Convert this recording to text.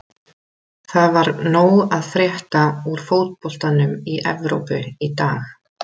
Það var nóg að frétta úr fótboltanum í Evrópu í dag.